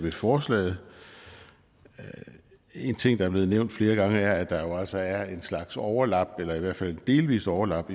i forslaget en ting der er blevet nævnt flere gange er at der jo altså er en slags overlap eller i hvert fald et delvist overlap